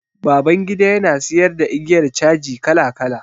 Babangida ya na siyar da igiyar caji kala kala.